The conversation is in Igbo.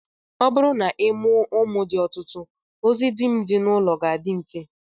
Ọ bụrụ na ị mụọ ụmụ dị ọtụtụ, ozi dum dị n'ụlọ ga-adị mfe